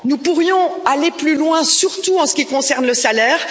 Nous pourrions aller plus loin, surtout en ce qui concerne le salaire.